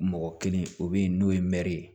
Mɔgɔ kelen o bɛ yen n'o ye mɛri ye